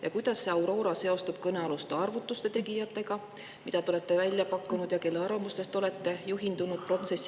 Ja kuidas see Aurora seostub kõnealuste arvutuste tegijatega, keda te olete välja pakkunud ja kelle arvamustest olete juhindunud?